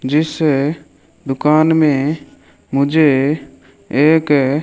जिस दुकान में मुझे एक--